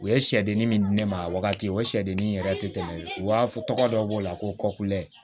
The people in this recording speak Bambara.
U ye sɛdennin min di ne ma a wagati o sɛdenni yɛrɛ tɛ tɛmɛ u b'a fɔ tɔgɔ dɔ b'o la ko kɔkudɛ